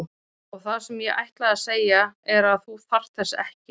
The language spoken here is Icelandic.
Og það sem ég ætlaði að segja er að þú þarft þess ekki.